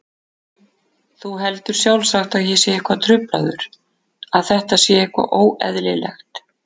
Þú heldur sjálfsagt að ég sé eitthvað truflaður, að þetta sé eitthvað óeðlilegt.